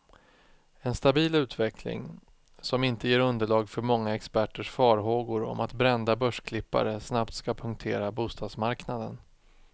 En stabil utveckling, som inte ger underlag för många experters farhågor om att brända börsklippare snabbt ska punktera bostadsmarknaden.